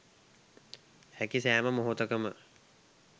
හැකි සෑම මොහොතකම